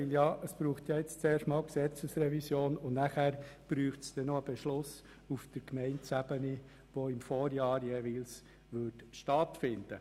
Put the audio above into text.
Denn jetzt braucht es zuerst einmal eine Gesetzesrevision, und danach bedürfte es noch eines Beschlusses auf Gemeindeebene, der jeweils im Vorjahr gefällt werden müsste.